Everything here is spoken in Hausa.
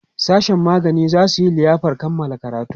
sashen magani zasu Yi liyafar Kamala karatu